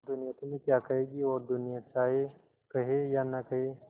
दुनिया तुम्हें क्या कहेगी और दुनिया चाहे कहे या न कहे